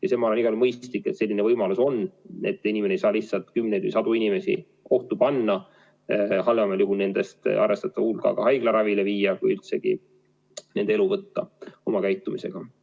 On igal juhul mõistlik, et selline võimalus on, et inimene ei saa oma käitumisega lihtsalt kümneid või sadu inimesi ohtu seada, nii et neist halvemal juhul arvestatav hulk haiglaravile sattub või lausa elu jätma peab.